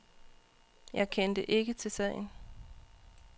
Jeg kendte ikke til sagen.